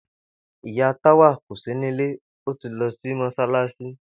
Ìyá Táwà kò sí nílé, ó ti lo̩ sí mós̩álás̩i